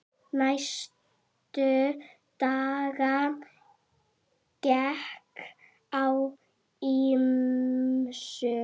Næstu daga gekk á ýmsu.